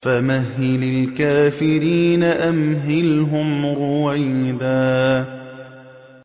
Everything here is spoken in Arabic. فَمَهِّلِ الْكَافِرِينَ أَمْهِلْهُمْ رُوَيْدًا